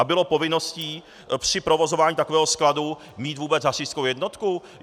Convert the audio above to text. A bylo povinností při provozování takového skladu mít vůbec hasičskou jednotku?